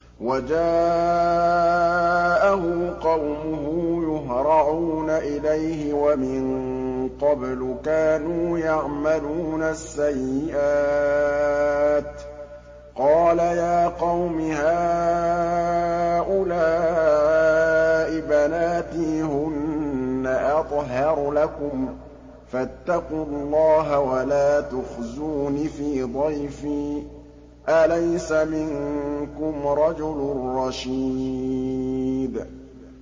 وَجَاءَهُ قَوْمُهُ يُهْرَعُونَ إِلَيْهِ وَمِن قَبْلُ كَانُوا يَعْمَلُونَ السَّيِّئَاتِ ۚ قَالَ يَا قَوْمِ هَٰؤُلَاءِ بَنَاتِي هُنَّ أَطْهَرُ لَكُمْ ۖ فَاتَّقُوا اللَّهَ وَلَا تُخْزُونِ فِي ضَيْفِي ۖ أَلَيْسَ مِنكُمْ رَجُلٌ رَّشِيدٌ